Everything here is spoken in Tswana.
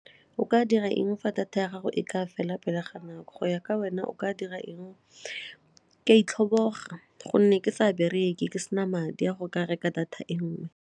O ka dira eng fa data ya gago e ka fela pele ga nako, go ya ka wena o ka dira eng? Ke a itlhobogela gonne ke sa bereke ke sena madi a go ka reka data e nngwe.